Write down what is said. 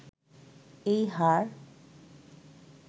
এই হার